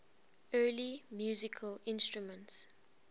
early musical instruments